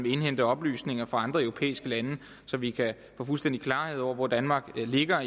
indhente oplysninger fra andre europæiske lande så vi kan få fuldstændig klarhed over hvor danmark ligger